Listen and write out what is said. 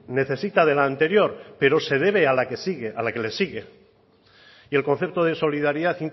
necesita de la anterior pero se debe a la que le sigue y el concepto de solidaridad